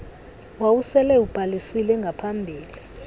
wawusele ubhalisile ngaphambili